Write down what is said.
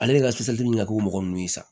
Ale ka bɛ ɲɛfɔ mɔgɔ nunnu ye sa